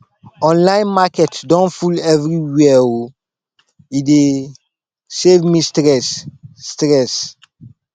online market don full everywhere o e dey save me stress stress